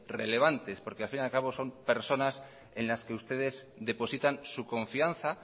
relevantes porque al fin y al cabo son personas en las que ustedes depositan su confianza